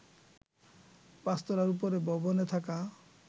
৫ তলার উপরের ভবনে থাকা